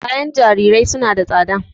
Kayan jarirai suna da tsada.